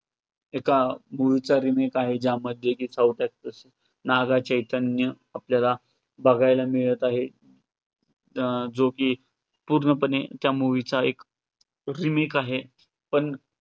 एका movie चा remake आहे ज्यामध्ये साऊथ actor पण नागाचैतन्य आपल्याला बघायला मिळतं आहे, जो की पूर्ण पणे त्या movie चा एक remake आहे पण